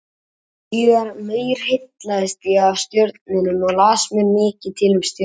Síðar meir heillaðist ég af stjörnunum og las mér mikið til um stjörnufræði.